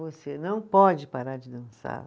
Você não pode parar de dançar.